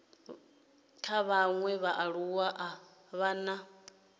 vhaṅwe vhaaluwa a vha na